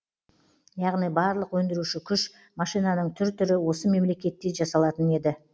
яғни барлық өндіруші күш машинаның түр түрі осы мемлекетте жасалатын еді